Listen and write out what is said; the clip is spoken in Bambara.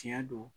Tiɲɛ don